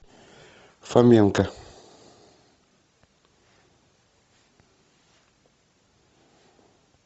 фоменко